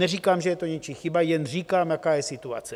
Neříkám, že je to něčí chyba, jen říkám, jaká je situace.